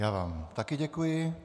Já vám také děkuji.